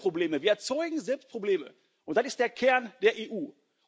Wir machen hier Probleme, wir erzeugen selbst Probleme, und das ist der Kern der EU.